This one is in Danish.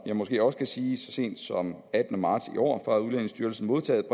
jeg måske også kan sige så sent som den attende marts i år fra udlændingestyrelsen modtaget